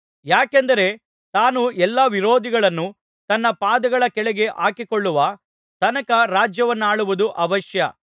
ಯಾಕೆಂದರೆ ತಾನು ಎಲ್ಲಾ ವಿರೋಧಿಗಳನ್ನು ತನ್ನ ಪಾದಗಳ ಕೆಳಗೆ ಹಾಕಿಕೊಳ್ಳುವ ತನಕ ರಾಜ್ಯವನ್ನಾಳುವುದು ಅವಶ್ಯ